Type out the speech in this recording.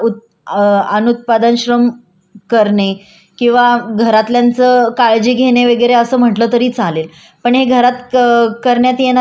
पण हे घरात करण्यात येणाऱ्या कार्य पण उत्पादक आहे पण त्याचा मोबदला काही घरात काम करणारे स्त्रीला दिला जात नाही